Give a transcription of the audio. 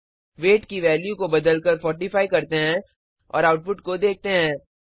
wait की value को बदलकर 45 करते हैं और आउटपुट को देखते हैं